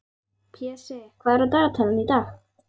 Pési, hvað er á dagatalinu í dag?